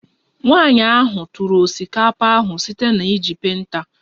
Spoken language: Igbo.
Nwanyị ahụ tụrụ osikapa ahụ site na iji penta